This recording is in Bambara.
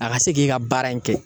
A ka se k'e ka baara in kɛ